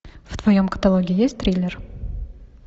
в твоем каталоге есть триллер